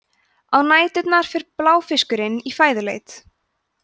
á næturnar fer bláfiskurinn í fæðuleit